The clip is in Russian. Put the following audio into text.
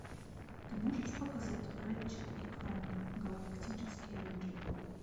ты можешь показать рэтчет и кланк галактические рейнджеры